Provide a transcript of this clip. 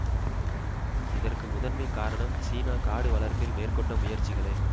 இதற்கு முதன்மைக் காரணம் சீனா காடு வளர்ப்பில் மேற்கொண்ட முயற்சிகளே